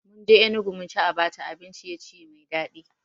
Munje Enugu munci Abacha abin ciye-ciye mai daɗi